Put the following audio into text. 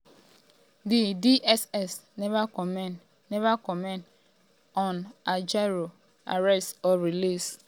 di dss neva comment neva comment on ajaero arrest or release.